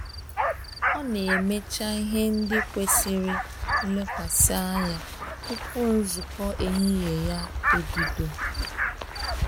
Ọ na emecha ihe ndị kwesịrị nlekwasị anya tupu nzukọ ehihie ya ebido